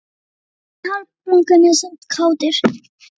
Allir eru hálfblankir en samt kátir